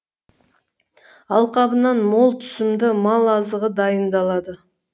алқабынан мол түсімді мал азығы дайындалады